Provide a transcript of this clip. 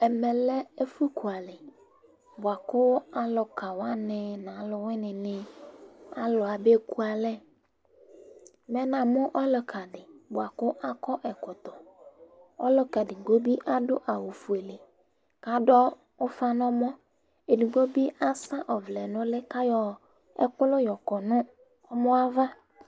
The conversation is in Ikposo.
ɛmɛ lɛ ɛfu ku alɛ boa kò aluka wani no aowini ni alò abe ku alɛ mɛ namo ɔluka di boa kò akɔ ɛkɔtɔ ɔluka edigbo bi ado awu fuele k'ado ufa n'ɔmɔ edigbo bi asɛ ɔvlɛ n'uli k'ayɔ ɛkò la yɔkɔ no ɔmɔ ava